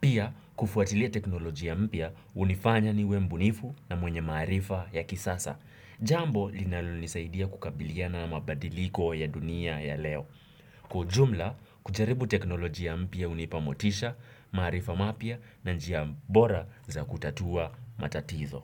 Pia, kufuatilia teknolojia mpya hunifanya niwe mubunifu na mwenye maarifa ya kisasa. Jambo linalo nisaidia kukabiliana na mabadiliko ya dunia ya leo. Kwa ujumla, kujaribu teknoloji ya mpya hunipa motisha, maarifa mapya na njia bora za kutatua matatizo.